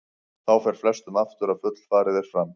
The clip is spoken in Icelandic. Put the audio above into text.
Þá fer flestum aftur að fullfarið er fram.